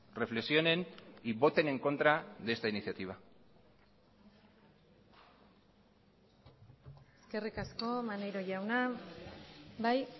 reflexionen y voten en contra de esta iniciativa eskerrik asko maneiro jauna bai